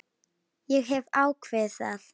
Ég hef ákveðið það.